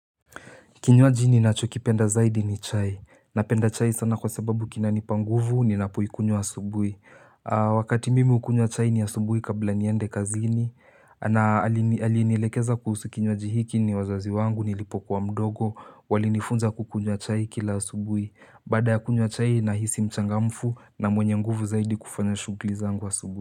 Kinywaji ninacho kipenda zaidi ni chai. Napenda chai sana kwa sababu kinanipa nguvu ninapoikunywa asubuhi. Wakati mimi ukunywa chai ni asubuhi kabla niende kazini. Na alinielekeza kuhusu kinywaji hiki ni wazazi wangu nilipokuwa mdogo. Walinifunza kukunywa chai kila asubuhi. Bada ya kunywa chai nahisi mchangamfu na mwenye nguvu zaidi kufanya shugli zangu asubuhi.